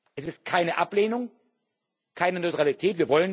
Das ist keine Ablehnung, keine Neutralität.